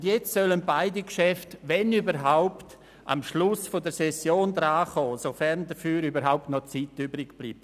Und jetzt sollen beide Geschäfte – wenn überhaupt – am Schluss der Session behandelt werden, sofern dafür noch Zeit bleibt.